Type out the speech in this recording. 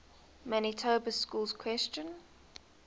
manitoba schools question